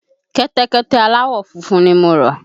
Kẹ́tẹ́kẹ́tẹ́ aláwọ̀ funfun ni mo rà.